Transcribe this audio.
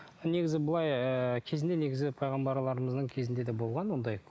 ал негізі былай ы кезінде негізі пайғамбарларымыздың кезінде де болған ондай